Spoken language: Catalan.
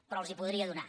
però els els podria donar